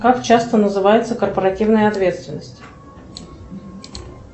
как часто называется корпоративная ответственность